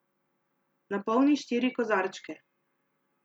Napolni štiri kozarčke.